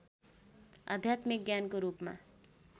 आध्यात्मिक ज्ञानको रूपमा